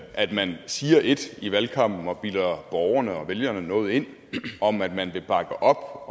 at man siger ét i valgkampen og bilder borgerne og vælgerne noget ind om at man vil bakke op